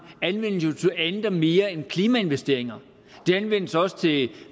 anvendes jo til andet og mere end klimainvesteringer den anvendes også til